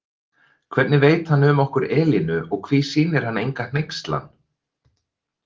Hvernig veit hann um okkur Elínu og hví sýnir hann enga hneykslan?